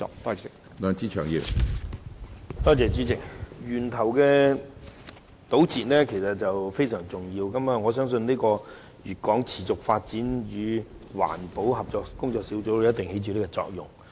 主席，從源頭堵截的工作實在非常重要，我相信粵港持續發展與環保合作工作小組一定會在這方面起作用。